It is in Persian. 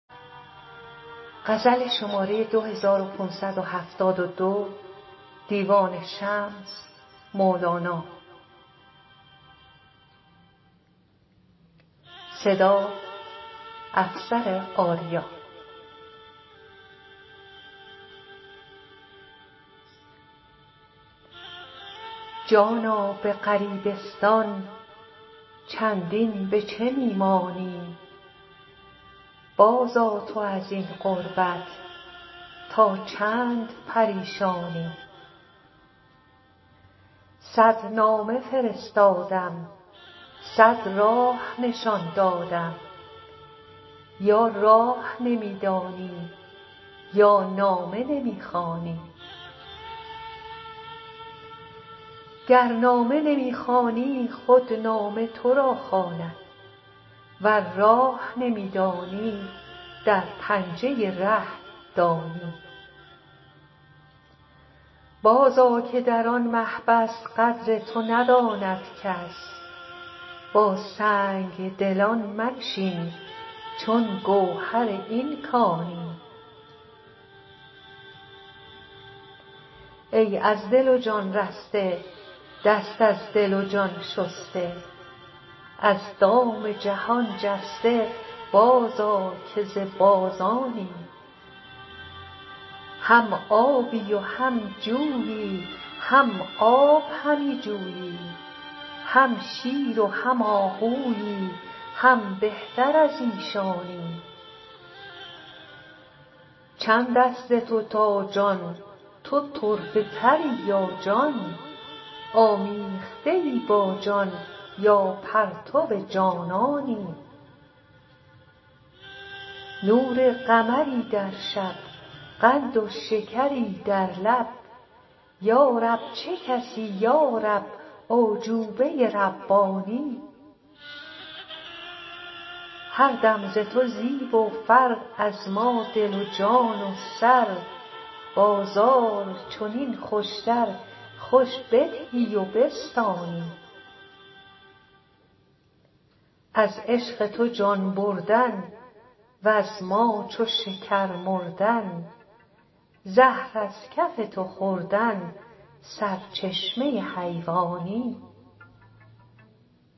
جانا به غریبستان چندین به چه می مانی بازآ تو از این غربت تا چند پریشانی صد نامه فرستادم صد راه نشان دادم یا راه نمی دانی یا نامه نمی خوانی گر نامه نمی خوانی خود نامه تو را خواند ور راه نمی دانی در پنجه ره-دانی بازآ که در آن محبس قدر تو نداند کس با سنگ دلان منشین چون گوهر این کانی ای از دل و جان رسته دست از دل و جان شسته از دام جهان جسته بازآ که ز بازانی هم آبی و هم جویی هم آب همی جویی هم شیر و هم آهویی هم بهتر از ایشانی چند است ز تو تا جان تو طرفه تری یا جان آمیخته ای با جان یا پرتو جانانی نور قمری در شب قند و شکری در لب یا رب چه کسی یا رب اعجوبه ربانی هر دم ز تو زیب و فر از ما دل و جان و سر بازار چنین خوشتر خوش بدهی و بستانی از عشق تو جان بردن وز ما چو شکر مردن زهر از کف تو خوردن سرچشمه حیوانی